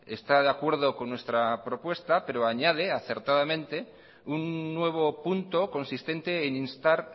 está de acuerdo con nuestra propuesta pero añade acertadamente un nuevo punto consistente en instar